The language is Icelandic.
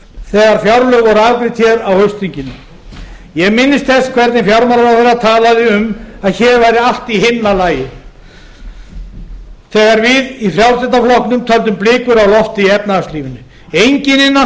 þegar fjárlög voru afgreidd hér á haustþinginu ég minnist þess hvernig fjármálaráðherra talaði um að hér væri allt í himnalagi þegar við í frjálslynda flokknum töldum blikur á lofti í efnahagslífinu enginn innan